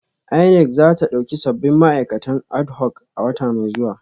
INEC za ta dauki sabbin ma'aikatan adhoc a wata mai zuwa